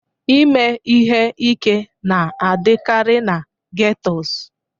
Ime ihe ike na-adịkarị na ghettos